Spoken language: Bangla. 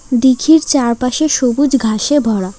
দীঘির চারপাশে সবুজ ঘাসে ভরা।